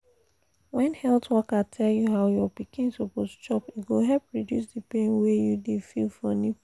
when health worker tell you how your pikin suppose chop e go help reduce the pain wey you dey feel for nipple